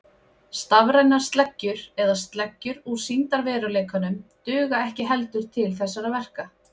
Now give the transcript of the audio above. Stafrænar sleggjur eða sleggjur úr sýndarveruleikanum duga ekki heldur til þessara verka.